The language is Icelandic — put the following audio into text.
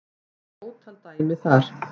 Ég fann ótal dæmi þar